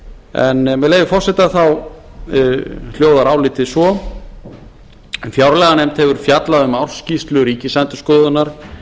en með leyfi forseta hljóðar álitið svo fjárlaganefnd hefur fjallað um ársskýrslu ríkisendurskoðunar